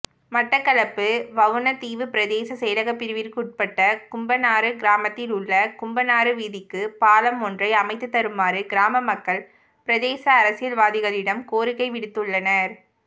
மட்டக்களப்பு வவுணதீவு பிரதேச செயலகப்பிரிவிற்குட்பட்ட கும்பனாறு கிராமத்திலுள்ள கும்பனாறு வீதிக்கு பாலம் ஒன்றை அமைத்துத்தருமாறு கிராமமக்கள் பிரதேச அரசியல்வாதிகளிடம் கோரிக்கைவிடுத்துள்ளனர்